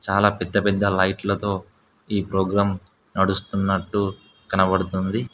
చాలా పెద్ద పెద్ద లైట్లతో ఈ ప్రోగ్రాం నడుస్తున్నట్టు కనబడుతుంది.